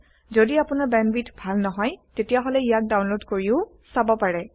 যদি আপোনাৰ বেন্দৱিথ ভাল নহয় তেতিয়াহলে ইয়াক ডাওনলোদ কৰিও চাব পাৰে